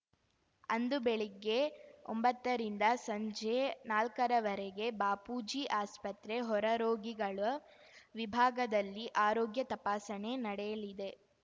ಅಂದು ಬೆಳಿಗ್ಗೆ ಒಂಬತ್ತರಿಂದ ಸಂಜೆ ನಾಲ್ಕರವರೆಗೆ ಬಾಪೂಜಿ ಆಸ್ಪತ್ರೆ ಹೊರರೋಗಿಗಳ ವಿಭಾಗದಲ್ಲಿ ಆರೋಗ್ಯ ತಪಾಸಣೆ ನಡೆಯಲಿದೆ